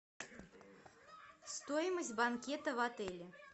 стоимость банкета в отеле